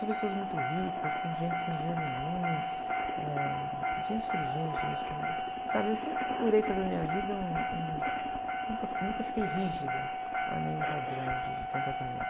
Com pessoas muito ricas, com gente sem dinheiro nenhum, eh, gente inteligente, gente que não era... Sabe, eu sempre procurei fazer da minha vida um, um... Nunca, nunca fiquei rígida a nenhum padrão de comportamento.